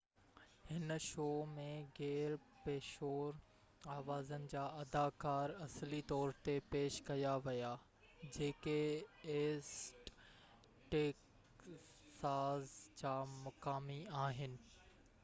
هن شو ۾ غير پيشور آوازن جا اداڪار اصلي طور تي پيش ڪيا ويا جيڪي ايسٽ ٽيڪساز جا مقامي آهن